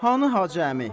Hanı Hacı əmi?